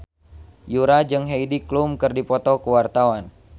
Yura jeung Heidi Klum keur dipoto ku wartawan